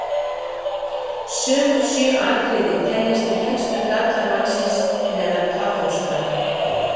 Sömu sjö atriði teljast til helstu galla mannsins meðal kaþólskra.